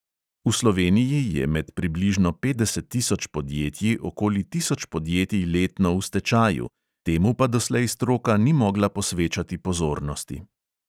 V sloveniji je med približno petdeset tisoč podjetji okoli tisoč podjetij letno v stečaju, temu pa doslej stroka ni mogla posvečati pozornosti.